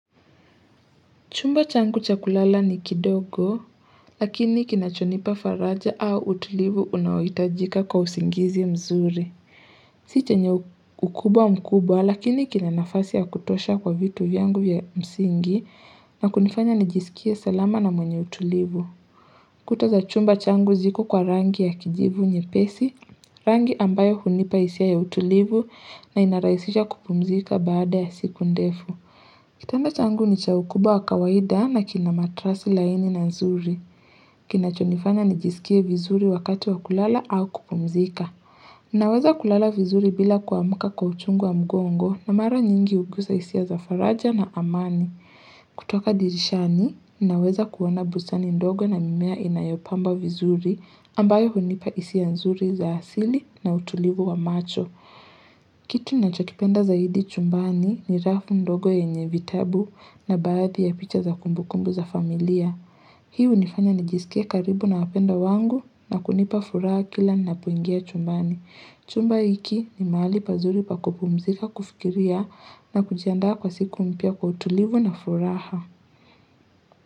Chumba changu cha kulala ni kidogo, lakini kinachonipa faraja au utulivu unaoitajika kwa usingizi mzuri. Si che nye ukubwa mkubwa, lakini kinanafasi ya kutosha kwa vitu vyangu ya msingi na kunifanya nijisikie salama na mwenye utulivu. Kuta za chumba changu ziko kwa rangi ya kijivu nye pesi, rangi ambayo hunipa isia ya utulivu na inaraisisha kupumzika baada ya siku ndefu. Kitanda changu ni chaukubwa wa kawaida na kina matresi laini na nzuri. Kina chonifanya ni jisikie vizuri wakati wa kulala au kupumzika. Naweza kulala vizuri bila kuamka kwa uchungu wa mgongo na mara nyingi ugusa isia za faraja na amani. Kutoka dirishani, naweza kuona bustani ndogo na mimea inayopamba vizuri ambayo hunipa isia nzuri za asili na utulivu wa macho. Kitu na chokipenda za hidi chumbani ni rafu ndogo ye nye vitabu na baadhi ya picha za kumbukumbu za familia Hii u nifanya nijisikie karibu na wapendwa wangu na kunipa furaha kila na poingia chumbani Chumba iki ni mahali pazuri pakupumzika kufikiria na kujiandaa kwa siku mpya kwa utulivu na furaha.